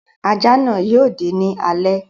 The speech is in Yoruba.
Ajá náà yóò dé ní alé.